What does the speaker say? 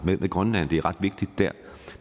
med grønland det er ret vigtigt dér